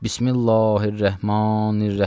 Bismillahirrahmanirrahim.